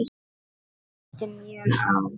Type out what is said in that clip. Það reyndi mjög á.